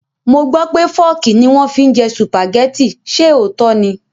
Mo gbó pé Fọ́ọ́kì ni wọ́n fi ń jẹ Sùpàgẹ́tì, ṣe òótọ́ ni?